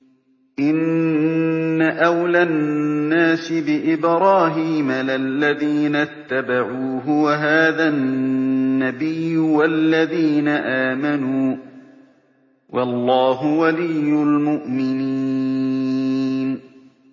إِنَّ أَوْلَى النَّاسِ بِإِبْرَاهِيمَ لَلَّذِينَ اتَّبَعُوهُ وَهَٰذَا النَّبِيُّ وَالَّذِينَ آمَنُوا ۗ وَاللَّهُ وَلِيُّ الْمُؤْمِنِينَ